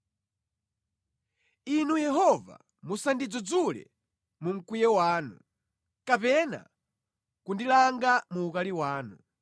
Inu Yehova, musandidzudzule mu mkwiyo wanu, kapena kundilanga mu ukali wanu.